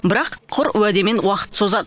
бірақ құр уәдемен уақытты созады